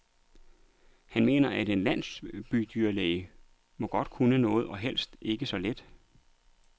Han mener, at en landsbydyrlæge må kunne noget, og helst ikke så lidt.